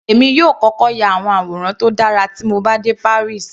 Èmi yóò kọ́kọ́ ya àwọn àwòrán tó dára tí mo bá dé Paris.